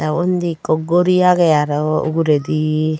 ao undi ekko guri agey aro uguredi.